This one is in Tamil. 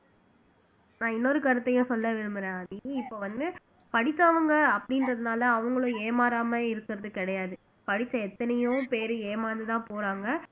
நான் இன்னொரு கருத்தையும் சொல்ல விரும்பறேன் ஆதி இப்ப வந்து படிச்சவங்க அப்படின்றதுனால அவங்களும் ஏமாறாம இருக்கறது கிடையாது படிச்ச எத்தனையோ பேரு ஏமாந்துதான் போறாங்க